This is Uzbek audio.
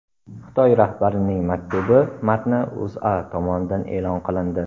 Xitoy rahbarining maktubi matni O‘zA tomonidan e’lon qilindi .